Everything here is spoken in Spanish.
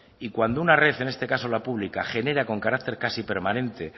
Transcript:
y cuando una red en este caso la pública genera con carácter casi permanente